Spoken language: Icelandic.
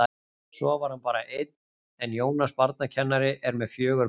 Svo var hann bara einn en Jónas barnakennari er með fjögur börn.